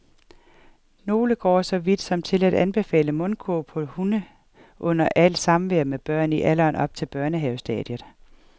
Nogle går så vidt som til at anbefale mundkurv på hunde under alt samvær med børn i alderen op til børnehavestadiet.